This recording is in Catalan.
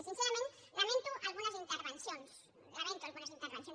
i sincerament lamento algunes intervencions lamento algunes intervencions